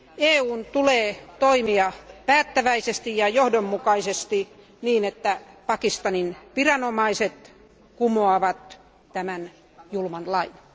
EUn tulee toimia päättäväisesti ja johdonmukaisesti, jotta Pakistanin viranomaiset kumoavat tämän julman lain.